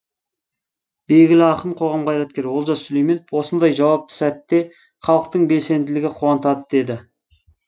белгілі ақын қоғам қайраткері олжас сүлейменов осындай жауапты сәтте халықтың белсенділігі қуантады деді